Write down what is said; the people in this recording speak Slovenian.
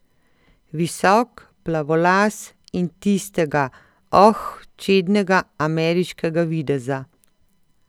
Visok, plavolas in tistega, oh, čednega ameriškega videza.